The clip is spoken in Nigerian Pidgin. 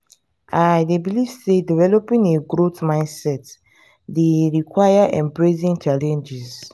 i dey believe say developing a growth mindset dey require embracing challenges.